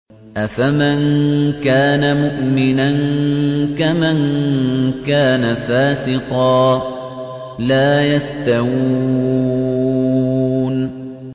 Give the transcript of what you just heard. أَفَمَن كَانَ مُؤْمِنًا كَمَن كَانَ فَاسِقًا ۚ لَّا يَسْتَوُونَ